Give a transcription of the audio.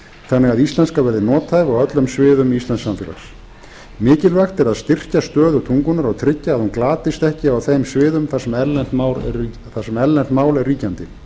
þannig að íslenska verði nothæf á öllum sviðum íslensks samfélags mikilvægt er að styrkja stöðu tungunnar og tryggja að hún glatist ekki á þeim sviðum þar sem erlent mál er ríkjandi